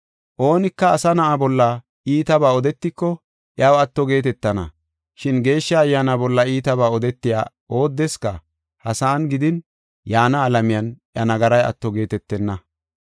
Oonika Asa Na7a bolla iitabaa odetiko iyaw atto geetetana, shin Geeshsha Ayyaana bolla iitabaa odetiya oodeska ha sa7an gidin yaana alamiyan iya nagaray atto geetetenna.